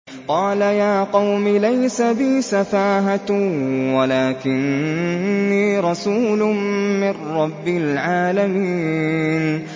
قَالَ يَا قَوْمِ لَيْسَ بِي سَفَاهَةٌ وَلَٰكِنِّي رَسُولٌ مِّن رَّبِّ الْعَالَمِينَ